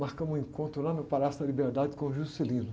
marcamos um encontro lá no Palácio da Liberdade com o Juscelino.